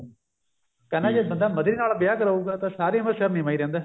ਕਹਿੰਦਾ ਜੇ ਬੰਦਾ ਮਧਰੀ ਨਾਲ ਵਿਆਹ ਕਰਾਉਗਾ ਸਾਰੀ ਉਮਰ ਸਿਰ ਨੀਵਾਂ ਹੀ ਰਹਿੰਦਾ